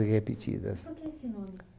E repetidas. Por que esse nome?